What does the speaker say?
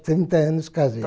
trinta anos casei.